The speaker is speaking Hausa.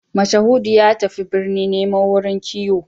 Mashahudu ya tafi birni nemo wurin kiwo